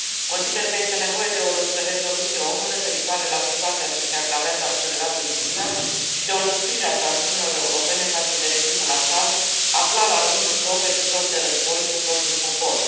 Consider că este nevoie de o rezoluție ONU referitoare la situația ce se agravează accelerat în Siria și de o înăsprire a sancțiunilor europene față de regimul Assad, aflat, la rândul său, pe picior de război cu propriul popor.